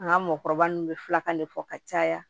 An ka mɔkɔ nun be filakan de fɔ ka caya